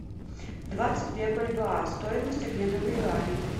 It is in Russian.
двадцать две бальбоа стоимость обмена в юани